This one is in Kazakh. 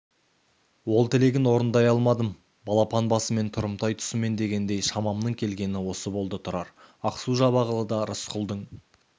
ол тілегін орындай алмадым балапан басымен тұрымтай тұсымен дегендей шамамның келгені осы болды тұрар ақсу-жабағылыда рысқұлдың